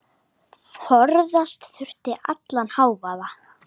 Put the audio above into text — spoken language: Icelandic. Forðast þurfti allan hávaða.